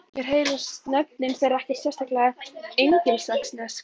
Mér heyrast nöfnin þeirra ekkert sérlega engilsaxnesk